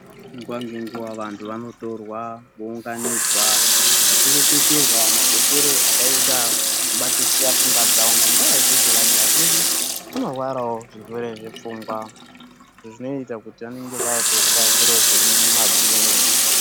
Nguva ngenguva vantu vanotorwa vounganidzwa, vachireketerwa makoshere akaita kubatisisa pfungwa dzavoc. Ngenyaya yekuti vantu vazhinji vanorwarawo zvirwere zvepfungwa izvo zvinoita kuti vanenge vakura zviro zvemumabhini.